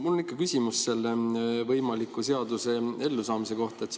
Mul on ikka küsimus selle võimaliku seaduse ellu kohta.